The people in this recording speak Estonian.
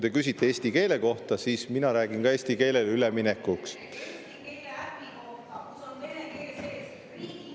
Te küsite eesti keele kohta, mina räägin ka eesti keelele üleminekust.